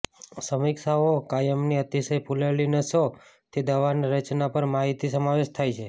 સમીક્ષાઓ કાયમની અતિશય ફૂલેલી નસો થી દવાની રચના પર માહિતી સમાવેશ થાય છે